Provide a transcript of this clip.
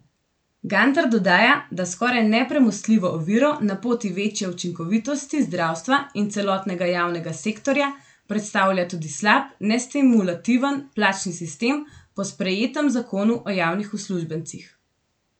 Gantar dodaja, da skoraj nepremostljivo oviro na poti večje učinkovitosti zdravstva in celotnega javnega sektorja predstavlja tudi slab, nestimulativen plačni sistem po sprejetem Zakonu o javnih uslužbencih.